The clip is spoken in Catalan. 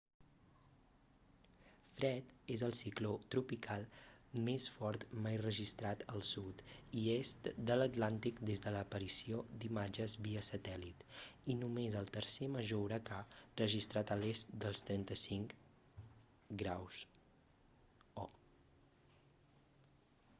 fred és el cicló tropical més fort mai registrat al sud i est de l'atlàntic des de l'aparició d'imatges via satèl·lit i només el tercer major huracà registrat a l'est dels 35 ºo